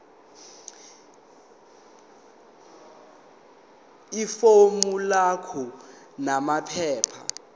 ifomu lakho namaphepha